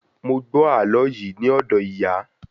Mo gbọ àlọ yìí ni odo ìyà